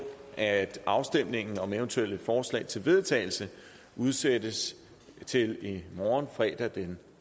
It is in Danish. at afstemningen om eventuelle forslag til vedtagelse udsættes til i morgen fredag den